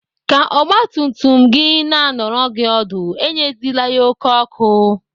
Ka ọgbatumtum gị na anọrọ gị ọdụ, enyezila ya oké ọkụ.